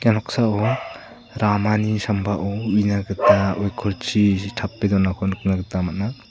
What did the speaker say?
ia noksao ramani sambao uina gita oikorchi tape donako nikna gita man·a.